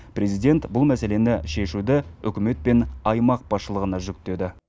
президент бұл мәселені шешуді үкімет пен аймақ басшылығына жүктеді